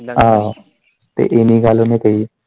ਅਹ ਤੇ ਇੰਨੀ ਗੱਲ ਉਨੇ ਕਹੀ।